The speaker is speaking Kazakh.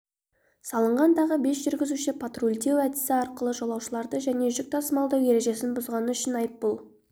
салынған тағы бес жүргізуші патрульдеу әдісі арқылы жолаушыларды және жүк тасымалдау ережесін бұзғаны үшін айыппұл